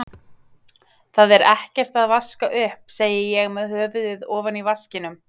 Það er ekkert að vaska upp, segi ég með höfuðið ofan í vaskinum.